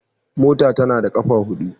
Mota tAnada kafa hudu